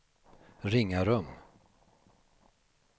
Ringarum